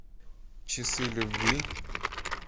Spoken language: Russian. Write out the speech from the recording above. часы любви